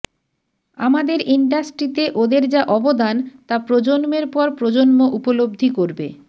আমাদের ইন্ডাস্ট্রিতে ওঁদের যা অবদান তা প্রজন্মের পর প্রজন্ম উপলব্ধি করবে